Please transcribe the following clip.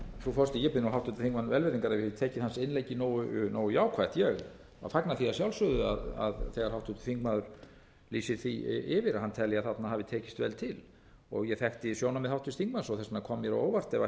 ef ég hef ekki tekið hans innleggi nógu jákvætt ég fagna því að sjálfsögðu þegar háttvirtur þingmaður lýsir því yfir að hann telji að þarna hafi tekist vel til ég þekki sjónarmið háttvirts þingmanns þess vegna kom mér á óvart ef ætti að fara að